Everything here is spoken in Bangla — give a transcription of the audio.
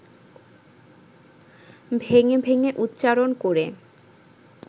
ভেঙে ভেঙে উচ্চারণ করে